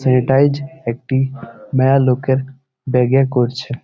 Sanitise একটি মেয়া লোকের ব্যাগ -এ করছে ।